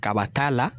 Kaba t'a la